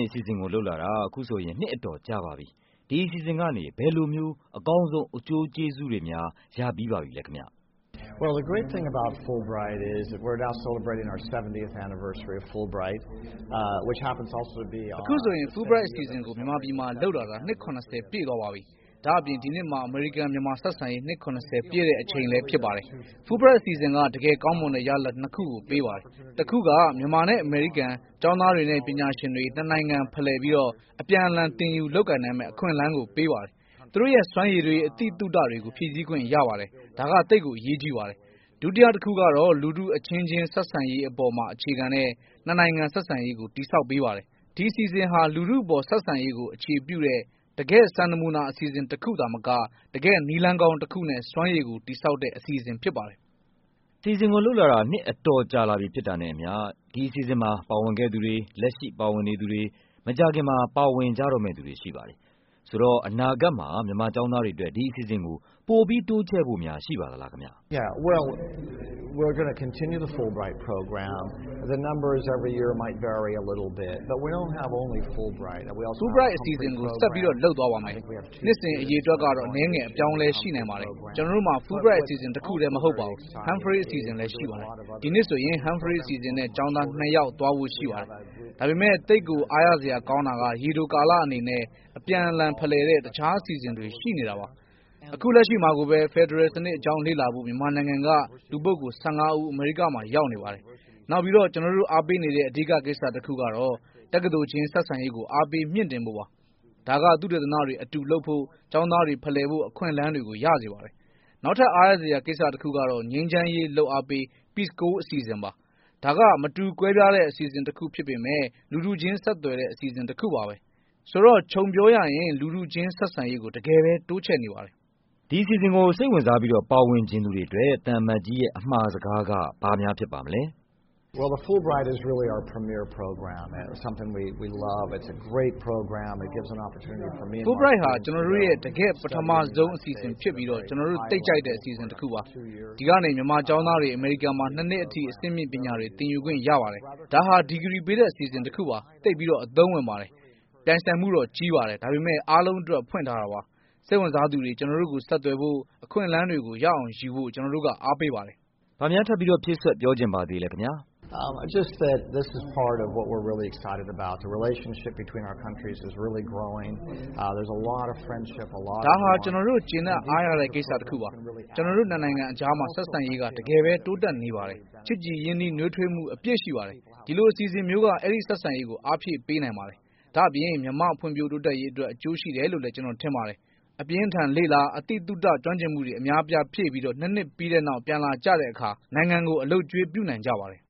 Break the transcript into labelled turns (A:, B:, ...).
A: င်အစီအစဉ်ကို လုပ်လာတာ အခုဆိုရင် နှစ်အတော်ကြာပါပြီ။ ဒီအစီအစဉ်ကနေ ဘယ်လိုမျိုး အကောင်းဆုံး အကျိုးကျေးဇူးတွေများ ပေးခဲ့ပါသလဲ။
B: အခုဆိုရင် Fulbright အစီအစဉ်ကို မြန်မာပြည်မှာလုပ်လာတာ နှစ် ၇၀ ပြည့်သွားပါပြီ။ ဒါ့အပြင် ဒီနှစ်ဟာ အမေရိကန်- မြန်မာဆက်ဆံရေး နှစ် ၇၀ ပြည့်ချိန်လဲဖြစ်ပါတယ်။ Fulbright အစီအစဉ်က တကယ်ကောင်းမွန်တဲ့ရလာဒ်နှစ်ခုကို ပေးပါတယ်။ တခုက မြန်မာနဲ့ အမေရိကန် ကျောင်းသားတွေနဲ့ ပညာရှင်တွေ နှစ်နိုင်ငံဖလှယ်ပြီး အပြန်အလှန် သင်ယူလုပ်ကိုင်နိုင်မယ့် အခွင့်အလန်းကိုပေးပါတယ်။ သူတို့ရဲ့စွမ်းရည်တွေ၊ အသိသုတတွေကို ဖြည့်ဆည်းခွင့်ရပါတယ်။ ဒါက သိပ်အရေးကြီးပါတယ်။ ဒုတိယတခုကတော့ လူထုအချင်းချင်းဆက်ဆံရေးပေါ် အခြေခံတဲ့ နှစ်နိုင်ငံဆက်ဆံရေးကို တည်ဆောက်ပေးပါတယ်။ ဒီအစီ အစဉ်ဟာ လူထုပေါ်ဆက်ဆံရေးကို အခြေပြုတဲ့ တကယ့်စံနမူနာအစီအစဉ်တခုသာမက တကယ့်နည်းလမ်းကောင်းတခုနဲ့ စွမ်းရည်ကိုတည်ဆောက်တဲ့ အစီအစဉ်ဖြစ်ပါတယ်။
A: အခုဆိုရင် အစီအစဉ်ကိုလုပ်လာ နှစ်အတော်ကြာလာပြီဖြစ်တာနဲ့အမျှ အစီအစဉ်မှာပါဝင်ခဲ့သူတွေ၊ လက်ရှိပါဝင်နေသူ တွေ၊ မကြာခင်မှာ ပါဝင်ကြတော့မယ့်သူတွေရှိပါတယ်။ ဆိုတော့ အနာဂတ်မှာ မြန်မာကျောင်းသားတွေအတွက် ဒီအစီအစဉ်ကို ပိုပြီးတိုးချဲ့ဖို့များ ရှိပါသလား။
B: Fulbright အစီအစဉ်ကို ဆက်လုပ်သွားပါမယ်။ နှစ်စဉ်အရေအတွက်ကတော့ အနည်းငယ် အပြောင်းအလဲ ရှိနိုင်ပါတယ်။ ကျနော်တို့မှာ Fulbright အစီအစဉ်တခုထဲ မဟုတ်ပါဘူး၊ Humphrey အစီအစဉ်လဲရှိပါတယ်။ ဒီနှစ်ဆိုရင် Humphrey အစီအစဉ် နဲ့ကျောင်းသားနှစ်ယောက် သွားဖို့ရှိပါတယ်။ ဒါပေမဲ့ သိပ်ကို အားရစရာကောင်းတာက ရေတိုကာလအနေနဲ့ အပြန်အလှန်ဖလှယ် တဲ့ တခြားအစီအစဉ်တွေရှိနေတာပါ။ အခုလက်ရှိမှာကိုပဲ ဖက်ဒရယ်စနစ်အကြောင်းလေ့လာဖို့ မြန်မာနိုင်ငံက လူပုဂ္ဂိုလ် ၁၅ ဦး အမေရိကန်မှာရောက်နေပါတယ်။ နောက် ကျနော်တို့အားပေးနေတဲ့ အဓိကကိစ္စတခုကတော့ တက္ကသိုလ်ချင်းဆက်ဆံရေးကို အားပေးမြှင့်တင်ဖို့ပါ။ ဒါက သုတေသနတွေ အတူလုပ်ဖို့၊ ကျောင်းသားတွေဖလှယ်ဖို့ အခွင့်အလမ်းတွေ ရစေပါမယ်။ နောက်ထပ် အားရစရာကိစ္စတခုကတော့ ငြိမ်းချမ်းရေး လုပ်အားပေး Peace Corp အစီအစဉ်ပါ။ ဒါက မတူကွဲပြားတဲ့အစီအစဉ်တခုဖြစ်ပေမဲ့ လူထုချင်းဆက်သွယ်တဲ့ အစီအစဉ်တခုပါပဲ။ ဆိုတော့ ခြုံပြောရရင် လူထုချင်းဆက်ဆံရေးကို တကယ့်ပဲ တိုးချဲ့နေပါတယ်။
A: ဒီအစီအစဉ်ကို စိတ်ဝင်စားပြီ ပါဝင်ချင်သူတွေအတွက် သံအမတ်ကြီးရဲ့ အမှာစကားက ဘာများဖြစ်ပါမလဲ။
B: Fulbright ဟာ ကျနော်တို့ရဲ့ တကယ့်ပထမဆုံးအစီအစဉ်ဖြစ်ပြီး ကျနော်တို့သိပ်ကြိုက်တဲ့အစီအစဉ်တခုပါ။ ဒီကနေ မြန်မာကျောင်းသားတွေ အမေရိကန်မှာ နှစ်နှစ်အထိ အဆင့်မြင့်ပညာတွေ သင်ယူခွင့်ရပါတယ်။ ဒါဟာ ဒီဂရီပေးတဲ့အစီအစဉ်တခု ပါ။ သိပ်ကိုအသုံးဝင်ပါတယ်။ ပြိုင်ဆိုင်မှုတော့ကြီးပါတယ်။ ဒါပေမဲ့ အားလုံးအတွက် ဖွင့်ထားတာပါ။ စိတ်ဝင်စားသူတွေ ကျနော်တို့ ကိုဆက်သွယ်ဖို့၊ အခွင့်အလမ်းကို ရအောင်ယူဖို့ ကျနော်တို့ အားပေးပါတယ်။
A: ဘာများ ဖြည့်ပြောချင်ပါသေးလဲခင်ဗျ။
B: ဒါဟာ ကျနော်တို့ ကျေနပ်အားရတဲ့ကိစ္စတခုပါ။ ကျနော်တို့နှစ်နိုင်ငံအကြား ဆက်ဆံရေးက တကယ်ပဲ တိုးတက်နေပါ တယ်။ ချစ်ကြည်ရင်းနှီးနွေးထွေးမှု အပြည့်ရှိနေပါတယ်။ ဒီလိုအစီအစဉ်မျိုးက အဲဒီဆက်ဆံရေးကို အားဖြည့်ပေးနိုင်ပါတယ်။ ဒါ့ အပြင် မြန်မာ့ဖွံ့ဖြိုးတိုးတက်ရေးအတွက် အကျိုးရှိတယ်လို့လဲ ကျနော်တို့ထင်ပါတယ်။ အပြင်းအထန်လေ့လာ၊ အသိသုတ ကျွမ်းကျင်မှုတွေ အများအပြားဖြည့်ပြီး နှစ်နှစ်ပြီးတဲ့နောက် ပြန်လာကြပြီးတော့ နိုင်ငံကို အလုပ်အကျွေးပြုနိုင်ကြပါတယ်